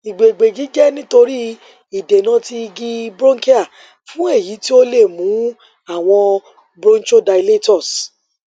igbegbeji jẹ nitori idena ti igi bronchial fun eyi ti o le mu awọn bronchodilators